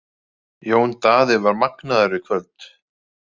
Jón Daði var magnaður í kvöld.